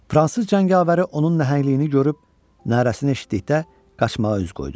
Fransız cəngavəri onun nəhəngliyini görüb narəsini eşitdikdə qaçmağa üz qoydu.